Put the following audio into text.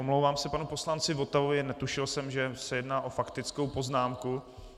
Omlouvám se panu poslanci Votavovi, netušil jsem, že se jedná o faktickou poznámku.